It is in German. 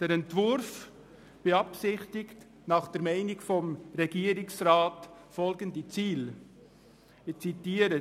Der Entwurf beabsichtigt nach Meinung des Regierungsrats folgende Ziele – ich zitiere: